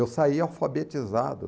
Eu saí alfabetizado.